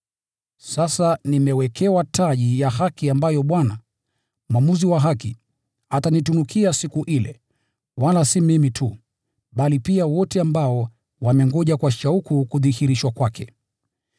Sasa nimewekewa taji ya haki ambayo Bwana, mwamuzi wa haki, atanitunukia siku ile: wala si mimi tu, bali pia wote ambao wamengoja kwa shauku kudhihirishwa kwake.